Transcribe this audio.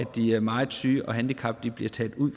de meget syge og de handicappede bliver taget ud